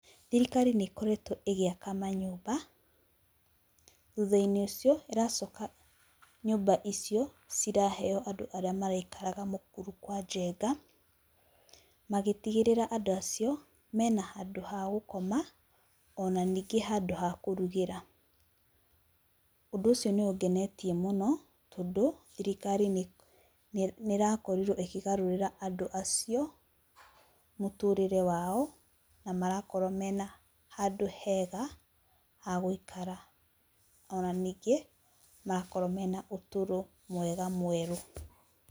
Thirikari niikoretwo igiaka manyumba, thutha-ini ucio iracoka nyumba icio ciraheo andu aria maraikara mukuru kwa jenga, magitigirira andu acio mena handu ha gukoma ona ningi handu ha kurugira. Undu ucio niungenetie muno tondu thirikari niirakoriruo ikigarurira andu acio muturire wao na marakoruo mena handu hega haguikara ona ningi marakorwo mena uturo mwega mweru.